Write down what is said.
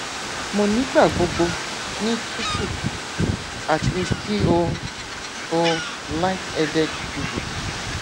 mo nigbagbogbo ni tutu ati ki o o light headed dizzy